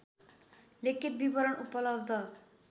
लिखित विवरण उपलब्ध